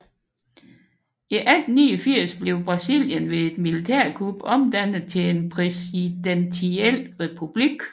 I 1889 blev Brasilien ved et militærkup omdannet til en præsidentiel republik